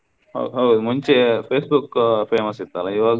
How ಹೌದು ಮುಂಚೆ Facebook famous ಇತ್ತಲಾ ಇವಾಗ.